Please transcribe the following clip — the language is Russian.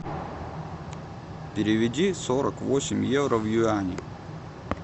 переведи сорок восемь евро в юани